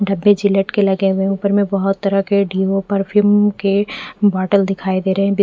डब्बे जिलेट के लगे हुए है ऊपर में बहोत तरह के डीओ परफ्यूम के बोतल दिखाई दे रहे है वे--